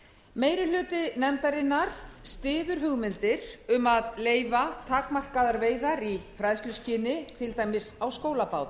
meiri hluti nefndarinnar styður hugmyndir um að leyfa takmarkaðar veiðar í fræðsluskyni til dæmis á